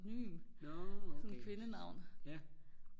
pseudonym som kvindenavn